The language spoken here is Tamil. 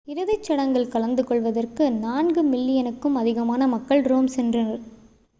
இறுதிச்சடங்கில் கலந்துகொள்வதற்கு நான்கு மில்லியனுக்கும் அதிகமான மக்கள் ரோம் சென்றனர்